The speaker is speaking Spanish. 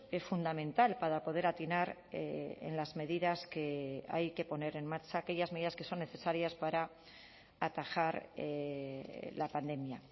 es fundamental para poder atinar en las medidas que hay que poner en marcha aquellas medidas que son necesarias para atajar la pandemia